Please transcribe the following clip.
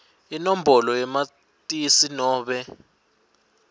inombolo yamatisi nobe